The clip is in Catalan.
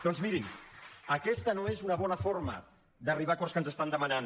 doncs mirin aquesta no és una bona forma d’arribar a acords que ens estan demanant